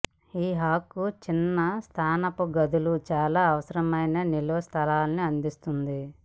ఈ హాక్ చిన్న స్నానపు గదులు చాలా అవసరమైన నిల్వ స్థలాన్ని అందిస్తుంది